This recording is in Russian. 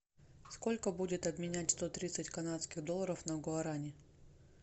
сколько будет обменять сто тридцать канадских долларов на гуарани